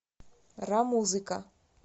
рамузыка